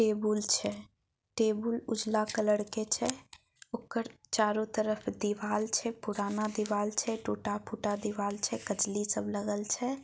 Table छै table उजाला colour के छै ओकर चारों तरफ दीवाल छै पुराना दीवाल छै टूटा-फूटा दीवाल छै कचली सब लगल छै।